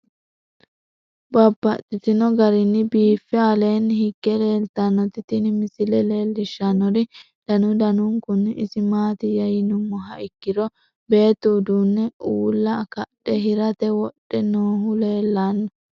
Babaxxittinno garinni biiffe aleenni hige leelittannotti tinni misile lelishshanori danu danunkunni isi maattiya yinummoha ikkiro beettu uduunne uulla kadhe hiratte wodhe noohu leelanno.